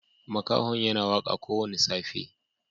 Makahon yana waka ko woda wanda safe.